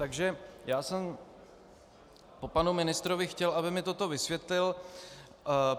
Takže já jsem po panu ministrovi chtěl, aby mi toto vysvětlil.